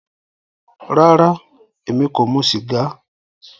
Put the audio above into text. Rárá, ẹmi kò mù sígà